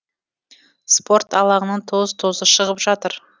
спорт алаңының тоз тозы шығып жатыр